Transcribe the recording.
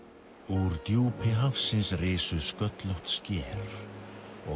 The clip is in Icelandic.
úr djúpi hafsins risu sköllótt sker og